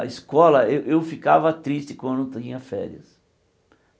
Na escola eu eu ficava triste quando tinha férias.